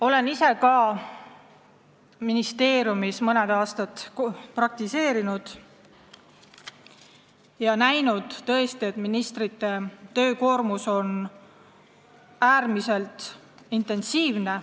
Olen ka ise mõne aasta ministeeriumis praktiseerinud ja näinud, et ministrite töö on tõesti äärmiselt intensiivne.